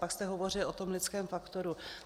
pak jste hovořil o tom lidském faktoru.